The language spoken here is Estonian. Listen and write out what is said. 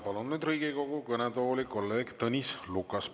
Palun nüüd Riigikogu kõnetooli kolleeg Tõnis Lukase.